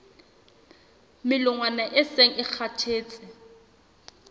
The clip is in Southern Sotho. melongwana e seng e kgathetse